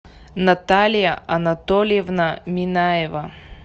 наталья анатольевна минаева